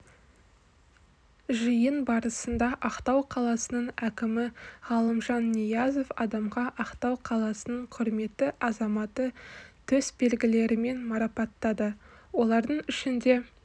жиын барысында ақтау қаласының әкімі ғалымжан ниязов адамға ақтау қаласының құрметті азаматы төсбелгілерімен марапаттады олардың ішінде